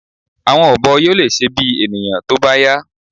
̀Àwọn ọ̀bọ yóò lè ṣe bí ènìyàn tó bá yá